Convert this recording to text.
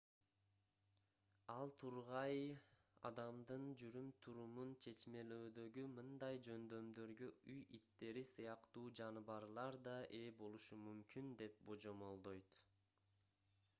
ал тургай адамдын жүрүм-турумун чечмелөөдөгү мындай жөндөмдөргө үй иттери сыяктуу жаныбарлар да ээ болушу мүмкүн деп божомолдойт